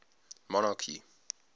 monarchy